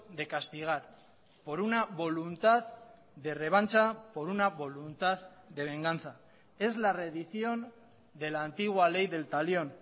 de castigar por una voluntad de revancha por una voluntad de venganza es la redición de la antigua ley del talión